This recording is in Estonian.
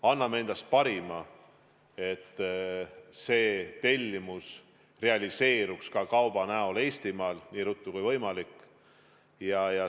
Anname endast parima, et see tellimus realiseerida ka kauba näol Eestimaal nii ruttu kui võimalik.